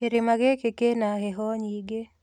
Kĩrĩma gĩkĩ kĩna heho nyingĩ